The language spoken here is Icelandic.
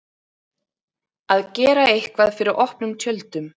Að gera eitthvað fyrir opnum tjöldum